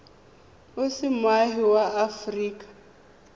o se moagi wa aforika